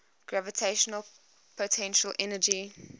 gravitational potential energy